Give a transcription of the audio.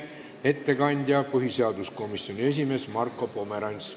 Ettekandja on põhiseaduskomisjoni esimees Marko Pomerants.